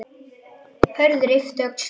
Hörður yppti öxlum.